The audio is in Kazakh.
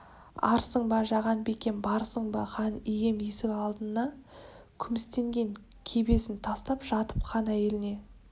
арсың ба жаған бикем барсың ба хан ием есік алдына күмістенген кебісін тастап жатып хан әйеліне